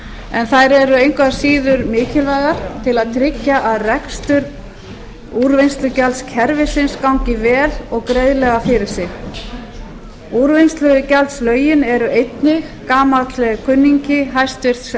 en þær eru engu að síður mikilvægar til að tryggja að rekstur úrvinnslugjaldskerfisins gangi vel og greiðlega fyrir sig úrvinnslugjaldslögin eru einnig gamall kunningi háttvirtur